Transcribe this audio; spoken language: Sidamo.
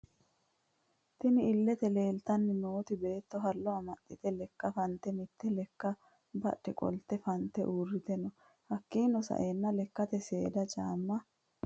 Tinni illete leelitanni nooti Beetto hallo amaxite lekka fanite mitte lekka badhe qolite fanite uurite no hakiino sa'eena lekkate seeda caama ....